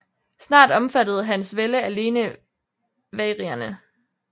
Snart omfattede hans vælde alene vagrierne